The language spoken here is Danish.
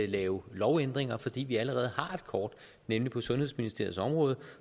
lave lovændringer fordi vi allerede har et kort nemlig på sundhedsministeriets område